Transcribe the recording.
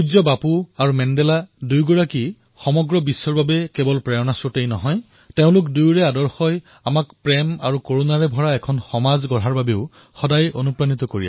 বাপু আৰু মেণ্ডেলা দুয়োৱে সমগ্ৰ বিশ্বৰ বাবে কেৱল প্ৰেৰণাৰ স্ৰোতই নহয় তেওঁলোকৰ আদৰ্শই আমাক প্ৰেৰণা তথা কৰুণাৰে ভৰা সমাজৰ নিৰ্মাণৰ বাবে সহায়েই উৎসাহিত কৰে